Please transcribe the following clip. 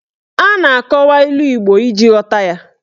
A na-akọwa ilu Igbo iji ghọta ya.